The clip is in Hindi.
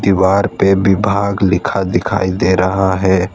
दीवार पे विभाग लिखा दिखाई दे रहा है।